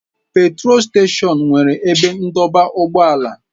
Petrol steshọns nwere ebe ndọba ụgbọala.